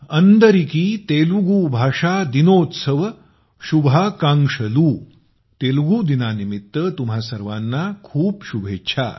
अन्दरिकी तेलुगू भाषा दिनोत्सव शुभाकांक्षलु । तेलुगु दिनानिमित्त तुम्हा सर्वांना खूप खूप शुभेच्छा